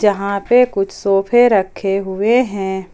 यहां पे कुछ सोफे रखे हुए हैं।